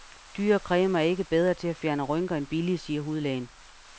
Dyre cremer er ikke bedre til at fjerne rynker end billige, siger hudlægen.